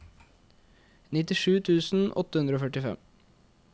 nittisju tusen åtte hundre og førtifem